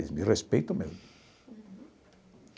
Eles me respeitam mesmo.